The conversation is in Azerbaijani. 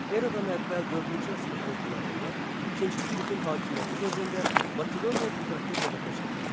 Eradan əvvəl dördüncü əsrin ortalarında İkinci Filippin hakimiyyəti dövründə Makedoniya qüdrətli dövlətə çevrildi.